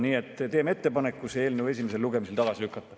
Nii et teeme ettepaneku see eelnõu esimesel lugemisel tagasi lükata.